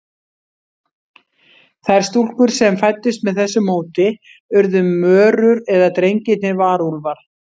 Þær stúlkur sem fæddust með þessu móti urðu mörur, en drengirnir varúlfar.